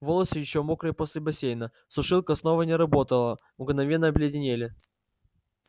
волосы ещё мокрые после бассейна сушилка снова не работала мгновенно обледенели